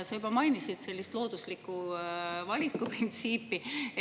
Sa juba mainisid loodusliku valiku printsiipi.